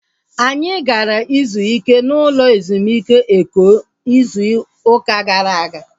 Anyị gara ịzụ ike n'ụlọ ezumike Eko ịzụ ụka gara aga